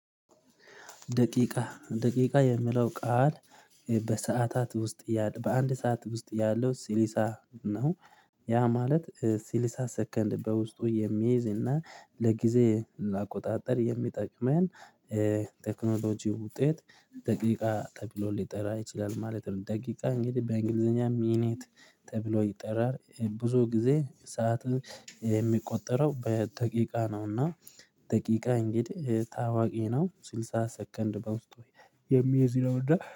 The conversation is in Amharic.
ደቂቃ ደቂቃ የሚለው ቃል በሰአታት ውስጥ በአንድ ሰዓት ውስጥ ያለው ስልሳ ነው። ያ ማለት ስልሳ ሰከንድ በውስጡ የሚይዝ እና ለጊዜ ለአቆጣጠር የሚጠቅመን ቴክኖሎጂ ውጤት። ደቂቃ ተብሎ ሊጠራ ይችላል ማለት ነው። ደቂቃ እንግዲህ በእንግሊዘኛ ሚኒት ተብሎ ይጠራል ብዙ ጊዜ ሰዓት የሚቆጠረው በደቂቃ ነውና። ደቂቃ እንግዲህ ታዋቂ ነው ስልሳ ሰከንድ በውስጡ የሚይዝ ነውና